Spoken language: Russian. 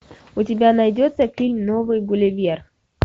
у тебя найдется фильм новый гулливер